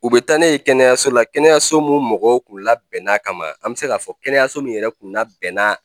U bɛ taa ne ye kɛnɛyaso la kɛnɛso minnu mɔgɔw kun labɛnn'a kama an bɛ se k'a fɔ kɛnɛyaso min yɛrɛ kun labɛnna